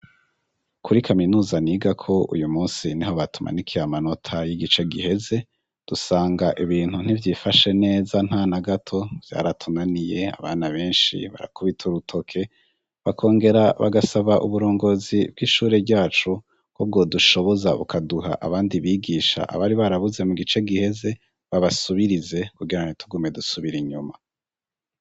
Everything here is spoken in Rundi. Kuri kaminuza nigako uyu munsi niho batumanikiye amanota y'igice giheze dusanga ibintu ntivyifashe neza ntanagato vyaratunaniye abana benshi barakubita urutoke bakongera bagasaba uburongozi bw'ishure ryacu ko bwodushoboza bukaduha abandi bigisha abari barabuze mu gice giheze babasubirize kugira ntitugume dusubira inyuma.